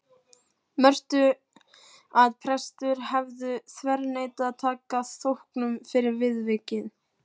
Mörtu að prestur hefði þverneitað að taka þóknun fyrir viðvikið.